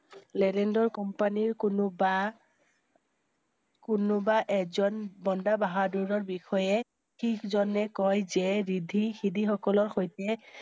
লেৰেণ্ড ৰ কোম্পানীৰ কোনো~বা~কোনোবা এজন বন্দা বহাদুৰৰট বিষয়ে শিখ জনে কয় যে ৰিদ্ধী সিদ্ধি সকলৰ সৈতে